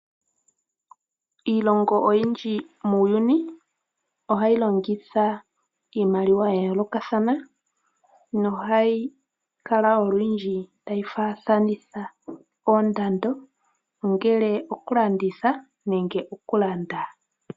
Iilongo oyindji muuyuni ohayi longitha iimaliwa ya yoolokathana nohayi kala olundji tayi fathanitha oondando ongele okulanditha nenge okulanda.